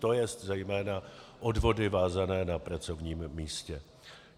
To jest zejména odvody vázané na pracovním místě.